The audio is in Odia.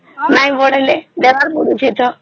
ନାଇଁ ବଢିଲେ ଦେବାର ପଡୁଛି ତ